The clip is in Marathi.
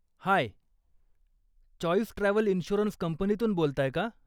हाय, चॉईस ट्रॅव्हल इन्शुरन्स कंपनीतून बोलताय का?